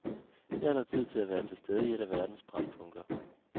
Her er der tid til at være til stede i et af verdens brændpunkter.